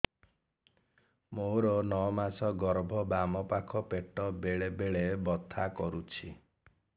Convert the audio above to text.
ମୋର ନଅ ମାସ ଗର୍ଭ ବାମ ପାଖ ପେଟ ବେଳେ ବେଳେ ବଥା କରୁଛି